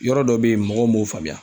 Yɔrɔ dɔ be yen mɔgɔw m'o faamuya